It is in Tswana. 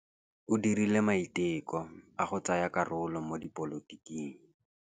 O dirile maitekô a go tsaya karolo mo dipolotiking.